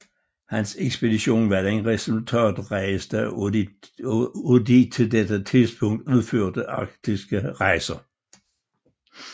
Hans ekspedition var den resultatrigeste af de til dette tidspunkt udførte arktiske rejser